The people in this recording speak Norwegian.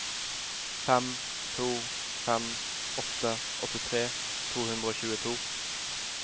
fem to fem åtte åttitre to hundre og tjueto